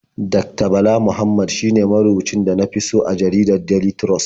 Dakta Bala Muhammad shine marubucin da na fi so a jaridar Daily Trust.